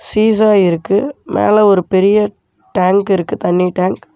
Seesaw இருக்கு மேல ஒரு பெரிய டேங்க் இருக்கு தண்ணி டேங்க் .